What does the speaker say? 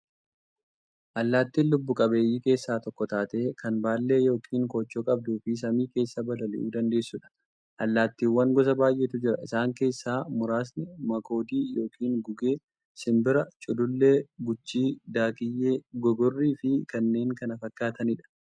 Allaattiin lubbuu qabeeyyii keessaa tokko taatee, kan baallee yookiin koochoo qabduufi samii keessaa balali'uu dandeessuudha. Allaattiiwwan gosa baay'eetu jira. Isaan keessaa muraasni; makoodii yookiin gugee, simbira, culullee, guchii, daakkiyyee, gogorriifi kanneen kana fakkaataniidha.